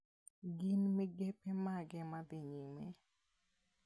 Gin migepe mage madhi nyime?